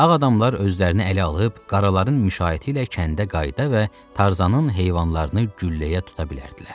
Ağ adamlar özlərini ələ alıb qaraların müşayiəti ilə kəndə qayıda və Tarzanın heyvanlarını gülləyə tuta bilərdilər.